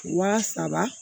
Wa saba